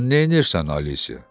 Sən nəyirsən Alisa?